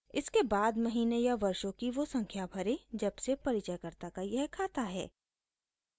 इसके बाद महीने या वर्षों की वो संख्या भरें जब से परिचयकर्ता का यह खाता है